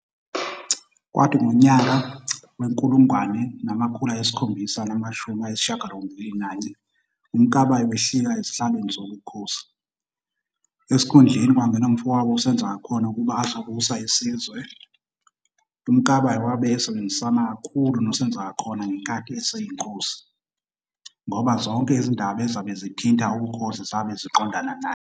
Kwathi ngonyaka wezi-1781 uMkabayi wehlika ezihlalweni sobukhosi, esikhundleni kwangena umfowabo uSenzangakhona ukuba azobusa isizwe. UMkabayi wabe esebenzisana kakhulu noSenzangakhona ngenkathi eseyinkosi, ngoba zonke izindaba ezabe zithinta ubukhoasi zabe ziqondana naye.